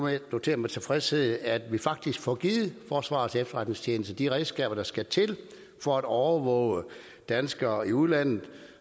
notere med tilfredshed at vi faktisk får givet forsvarets efterretningstjeneste de redskaber der skal til for at overvåge danskere i udlandet